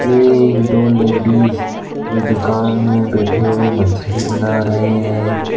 एक दो लेडीज दुकान में बैठे हुए मछली बना रहे हैं।